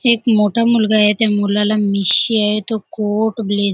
हे एक मोठा मुलगा आहेत्या मुलाला मिशी आहे तो कोट ब्ले --